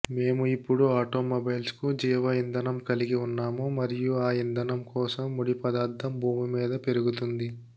మేము ఇప్పుడు ఆటోమొబైల్స్కు జీవ ఇంధనం కలిగివున్నాము మరియు ఆ ఇంధనం కోసం ముడిపదార్థం భూమి మీద పెరుగుతుంది